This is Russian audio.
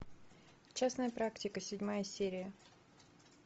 частная практика седьмая серия